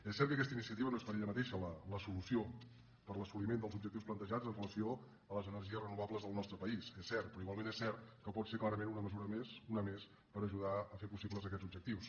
és cert que aquesta iniciativa no és per ella mateixa la solució per a l’assoliment dels objectius plantejats amb relació a les energies renova·bles al nostre país és cert però igualment és cert que pot ser clarament una mesura més una més per ajudar a fer possibles aquests objectius